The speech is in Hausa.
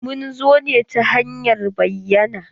Mun zo ne ta hanyar bayyana.